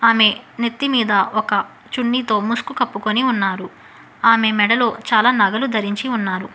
ఆమె నెత్తిమీద ఒక చున్నితో ముసుగు కప్పుకొని ఉన్నారు ఆమె మెడలో చాలా నగలు ధరించి ఉన్నారు.